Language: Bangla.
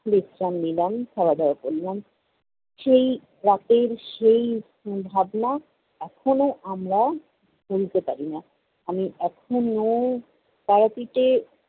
বিশ্রাম নিলাম, খাওয়া-দাওয়া করলাম। সেই রাতের, সেই ভাবনা এখনও আমরা ভুলতে পারিনা। আমি এখনও তারাপীঠে